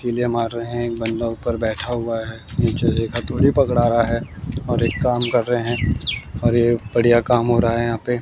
किले मार रहे हैं एक बंदा ऊपर बैठा हुआ है नीचे एक हथोड़ी पकड़ा रहा है और एक काम कर रहे हैं और यह बढ़िया काम हो रहा है यहां पे।